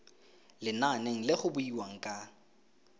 lenaneng le go buiwang ka